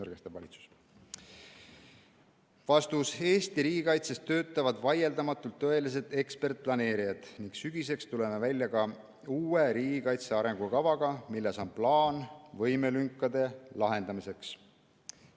" Eesti riigikaitses töötavad vaieldamatult tõelised ekspertplaneerijad ning sügiseks tuleme välja ka uue riigikaitse arengukavaga, milles on plaan võimelünkade lahendamiseks.